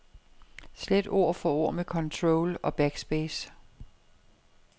Slet ord for ord med control og backspace.